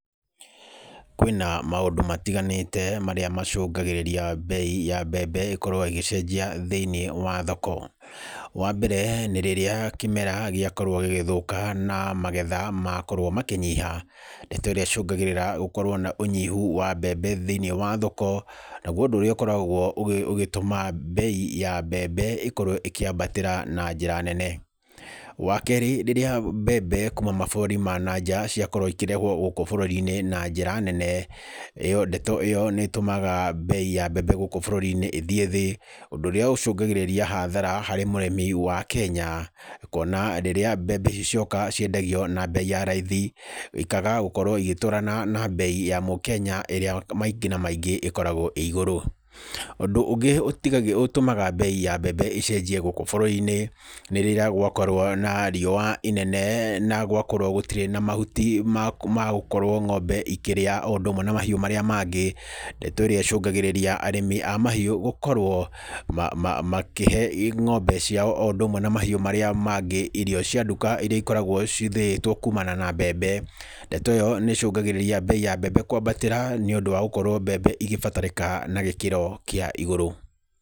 Kwīna maundu matiganīte maria macungagirīria mbei ya mbembe iīkoragwo ĩgĩcenjia thīinī wa thoko. Wa mbere, ni rīrīa kimera gīakorwo gīgithũka na magetha makorwo makīnyiha. Ndeto ĩrĩa icũngagirīria gũkorwo na ũnyihu wa mbembe thīinī wa thoko, naguo ũndũ ũrĩa ũkoragwo ũgitũma mbei ya mbembe ĩkorwo ĩkīambatīra na njīra nene. Wa kerī, rīrīa mbembe kuma maburũrī ma nanja ciakorwo īkīrehwo gũkũ burũrī-īnī na njīra nene. Ndeto ĩyo nī ĩtũmaga mbei ya mbembe gũkũ burũrī-īnī īthiī thī, ũndũ ũria ũcungagirīria hathara harī mũrimī wa Kenya. Kuona hīndī ĩrĩa mbembe ici cioka ciendagio, na mbei ya raithi ikaga gũkorwo cigĩtwarana na mbei ya mukenya, ĩrĩa maingĩ na maingĩ ĩkoragwo ĩgũrũ. Ūndũ ũngĩ ũtũmaga bei ya mbembe ĩcenjie gũkũ burũrī-īnī, nī rīrīa gwakorwo na riũa inene na gwakorwo gũtīre mahũtī ma gũkorwo ng'ombe ikĩrĩa ũndũ ũmwe na mahiũ maria mangĩ, ndeto ĩrĩa ichungagirīria arimī a mahĩũ makorwo makīhe ng'ombe cia rīao oo ũndũ ũmwe. Na mahĩũ maria mangĩ, īrio cia nduka iria cīkoragwo cīthĩtwo kũmana na mbembe. Ndeto ĩyo nī ĩcũngagĩrĩria mbei ya mbembe kwambatīra nī ũndũ wa gũtũma mbembe īkibatarĩkana na gīkiro kīa igũrũ.